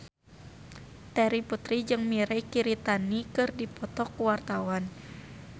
Terry Putri jeung Mirei Kiritani keur dipoto ku wartawan